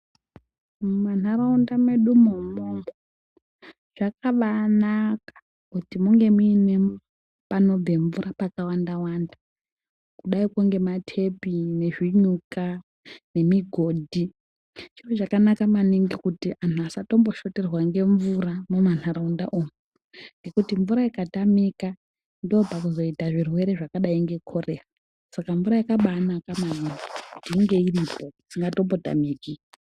Munharaunda mwedumwo umwomwo zvakabaanaka kuti munge mune panobve mvura pakawanda wanda kudaiko ngematepi nezvinyuka nemigodhi chiro chakanaka maningi kuti anhu asambotoshoterwa ngemvura mumanharaunda umu ngekuti mvura ikatamika ndopakuzoita zvirwere zvakadai ngekorera saka mvura yakabaanaka maningi inge iripo isambototamiki.